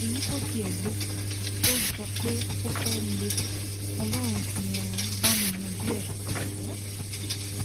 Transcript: èyí tó tiẹ lé èyí tó jọ pé ó fẹẹ lé ọlọrun ti um bá mi yanjú ẹ um